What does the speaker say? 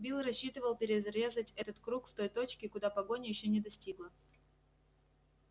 билл рассчитывал перерезать этот круг в той точке куда погоня ещё не достигла